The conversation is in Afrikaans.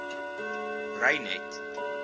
reinet